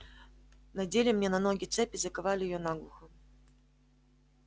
надели мне на ноги цепь и заковали её наглухо